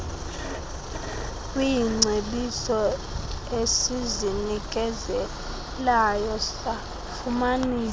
kwiingcebiso esizinikezelayo safumanisa